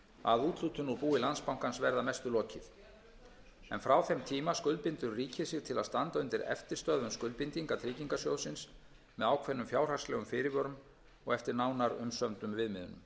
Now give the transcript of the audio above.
að úthlutun úr búi landsbankans verði að mestu lokið en frá þeim tíma skuldbindur ríkið sig til að standa undir eftirstöðvum skuldbindinga tryggingarsjóðsins með ákveðnum fjárhagslegum fyrirvörum og eftir nánar umsömdum viðmiðunum